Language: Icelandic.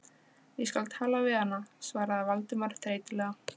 Ég skal tala við hana- svaraði Valdimar þreytulega.